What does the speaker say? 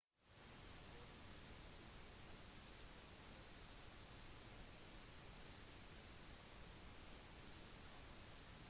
sporten blir spilt på gress og gresset rundt hullet kuttes kortere og blir kalt green